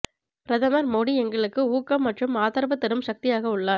பிரதமர் மோடி எங்களுக்கு ஊக்கம் மற்றும் ஆதரவு தரும் சக்தியாக உள்ளார்